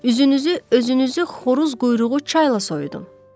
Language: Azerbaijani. Üzünüzü, özünüzü xoruz quyruğu çayla soyudun.